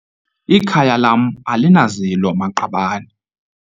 Ikhaya lam alinazilo-maqabane.